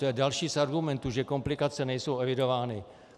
To je další z argumentů, že komplikace nejsou evidovány.